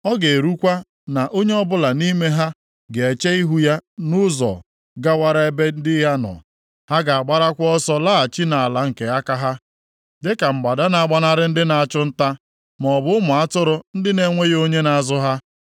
Ọ ga-erukwa na onye ọbụla nʼime ha ga-eche ihu ya nʼụzọ gawara ebe ndị ya nọ. Ha ga-agbarakwa ọsọ laghachi nʼala nke aka ha dịka mgbada na-agbanarị ndị na-achụ nta, maọbụ ụmụ atụrụ ndị na-enweghị onye na-azụ ha.